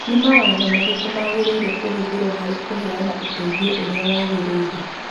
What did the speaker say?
Nĩ mawatho marĩkũ magĩrĩire kũhũthĩrũo harĩ kũheana ũteithio ũrĩa wagĩrĩire?